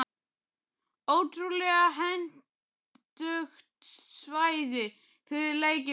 Ótrúlega hentugt svæði fyrir leikinn okkar.